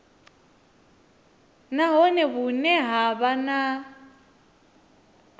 nahone vhune ha vha na